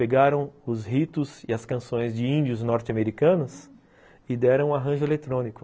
Pegaram os ritos e as canções de índios norte-americanos e deram um arranjo eletrônico.